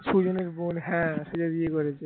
সুজন এর বোন হ্যাঁ সে বিয়ে করেছে